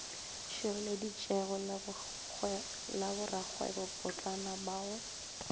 šireletšegilego la borakgwebopotlana ba go